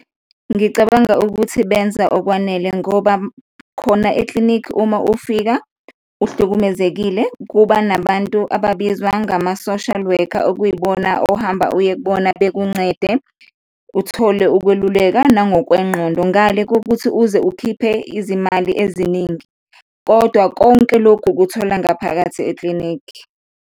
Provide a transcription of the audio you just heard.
Ngicabanga ukuthi benza okwanele ngoba khona eklinikhi uma ufika uhlukumezekile kuba nabantu ababizwa ngama-social worker, okuyibona ohamba uye kubona bekuncede, uthole ukweluleka nangokwengqondo, ngale kokuthi uze ukhiphe izimali eziningi kodwa konke lokhu ukuthola ngaphakathi eklinikhi.